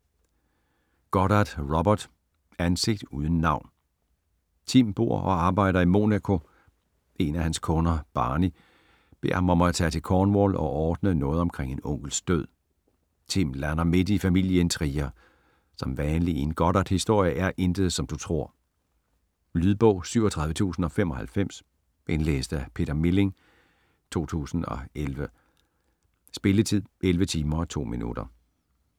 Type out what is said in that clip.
Goddard, Robert: Ansigt uden navn Tim bor og arbejder i Monaco, en af hans kunder, Barney, beder ham om at tage til Cornwall og ordne noget omkring en onkels død. Tim lander midt i familieintriger, som vanligt i en Goddardhistorie er intet, som du tror. Lydbog 37095 Indlæst af Peter Milling, 2011. Spilletid: 11 timer, 2 minutter.